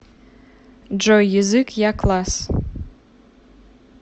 джой язык якласс